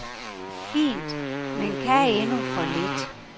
Fint, men kan endnu for lidt.